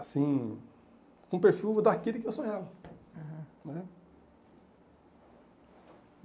assim, com o perfil daquele que eu sonhava. Aham. Né